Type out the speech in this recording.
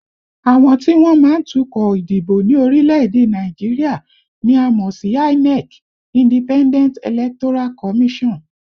Àwọn tí wọ́n má ń tukọ̀ ìdìbò ní orílẹ̀èdè Nàìjíríà ni a mọ̀ sí INEC (Independent Electoral Commission)